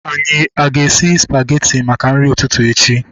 Anyị aga esi spageti maka nri ụtụtụ echi?